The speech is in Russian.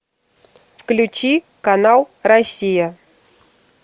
включи канал россия